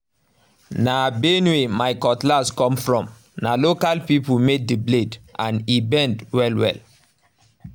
na benue my cutlass come from—na local people made the blade and e bend well well